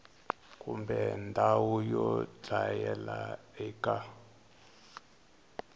kumbe ndhawu yo dlayela eka